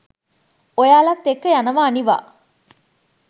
ඔයාලත් එක්ක යනවා අනිවා